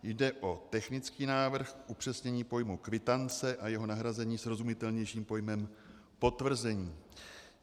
Jde o technický návrh k upřesnění pojmu kvitance a jeho nahrazení srozumitelnějším pojmem potvrzení.